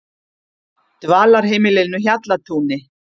Dvalarheimilinu Hjallatúni